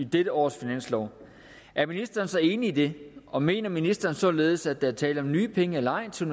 dette års finanslov er ministeren så enig i dette og mener ministeren således at der er tale om nye penge eller ej til